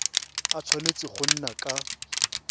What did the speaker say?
a tshwanetse go nna ka